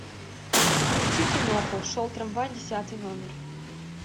включи кино шел трамвай десятый номер